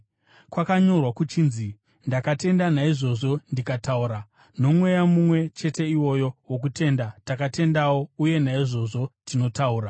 Kwakanyorwa kuchinzi: “Ndakatenda; naizvozvo ndikataura.” Nomweya mumwe chete iwoyo wokutenda takatendawo uye naizvozvo tinotaura,